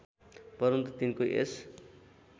परन्तु तिनको यस